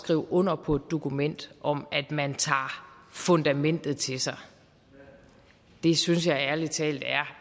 skrive under på et dokument om at man tager fundamentet til sig synes jeg ærlig talt